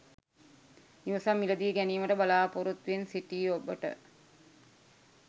නිවසක් මිලදී ගැනීමට බලා‍පොරොත්තුවෙන් සිටි ඔබට